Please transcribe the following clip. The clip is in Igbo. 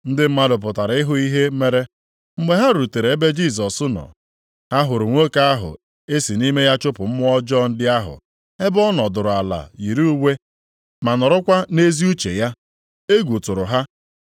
Ndị mmadụ pụtara ịhụ ihe mere. Mgbe ha rutere ebe Jisọs nọ, ha hụrụ nwoke ahụ e si nʼime ya chụpụ mmụọ ọjọọ ndị ahụ, ebe ọ nọdụrụ ala yiri uwe ma nọrọkwa nʼezi uche ya. Egwu tụrụ ha.